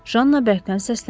Janna bərkdən səsləndi.